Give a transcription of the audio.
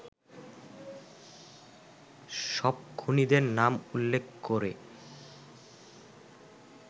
সব খুনীদের নাম উল্লেখ করে